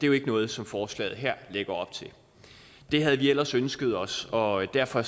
jo ikke noget som forslaget her lægger op til det havde vi ellers ønsket os og derfor